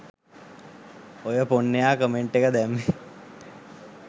ඔය පොන්නයා කමෙන්ට් එක දැම්මේ